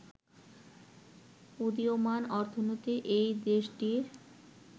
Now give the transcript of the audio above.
উদীয়মান অর্থনীতির এই দেশটির